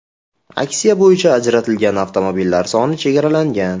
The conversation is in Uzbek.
Aksiya bo‘yicha ajratilgan avtomobillar soni chegaralangan.